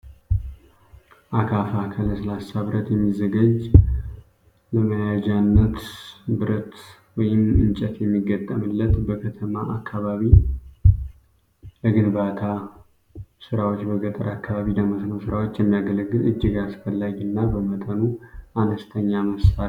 አካፋ ከለስላሳ ብረት የሚዘጋጅ ለመያጃነት ብረት ወይም እንጨት የሚገጠምለት በከተማ አካባቢ ለግንባታ ስራዎች በገጠር አካባቢ ለመስኖ ስራዎች የሚያገለግል እጅግ አስፈላጊ እና በመጠኑ አነስተኛ መሳሪያ ነው።